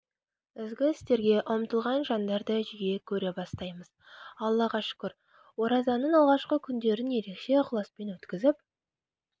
ізгі істерге ұмтылған жандарды жиі көре бастаймыз аллаға шүкір оразаның алғашқы күндерін ерекше ықыласпен өткізіп